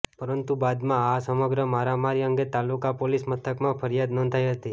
પરંતુ બાદમાં આ સમગ્ર મારા મારી અંગે તાલુકા પોલીસ મથકમાં ફરિયાદ નોંધાઈ હતી